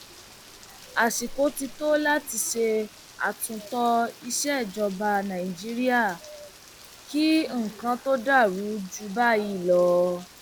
àsìkò ti tó láti ṣe àtúntò ìsejọba nàìjíríà kí nǹkan tóó dàrú jù báyìí lọ